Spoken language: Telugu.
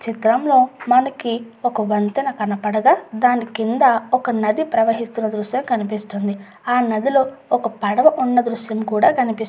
ఈ చిత్రం లో మనకి ఒక వంతెన కనబడగా దాని కింద ఒక నది ప్రవహిస్తున్న దృశ్యం కనిపిస్తుంది ఆ నదిలో ఒక పడవ ఉన్న దృశ్యం కూడా కనిపిస్తుంది.